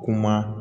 Kuma